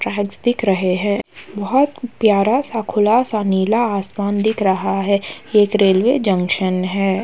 Tracks दिख रहे हैं। बहोत प्यारा सा खुला सा नीला आसमान दिख रहा है। एक रेलवे जंक्शन है।